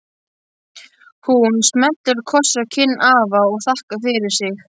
Hún smellir kossi á kinn afa og þakkar fyrir sig.